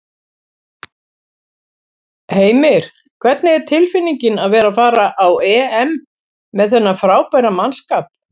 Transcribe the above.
Heimir: Hvernig er tilfinningin að vera að fara á EM með þennan frábæra mannskap?